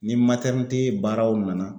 Ni baaraw nana